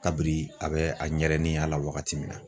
Kabiri a bɛ a ɲɛrɛniya la wagati min na